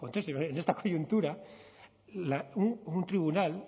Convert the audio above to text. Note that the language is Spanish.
contexto en esta coyuntura un tribunal